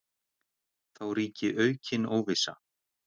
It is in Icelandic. Þá ríki aukin óvissa.